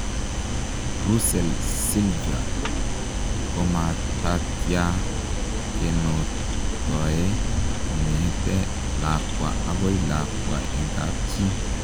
Rusell silva komatatyaa kenoktoe kongetee lakwa agoi lakwa eng kapchii.